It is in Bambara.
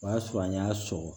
O y'a sɔrɔ an y'a sɔgɔ